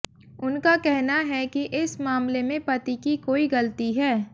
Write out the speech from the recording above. उनका कहना है कि इस मामले में पति की कोई गलती है